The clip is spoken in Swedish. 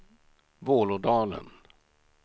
Vålådalen